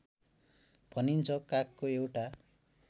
भनिन्छ कागको एउटा